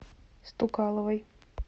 стукаловой